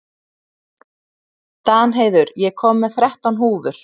Danheiður, ég kom með þrettán húfur!